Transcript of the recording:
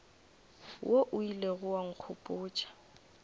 wo o ilego wa nkgopotša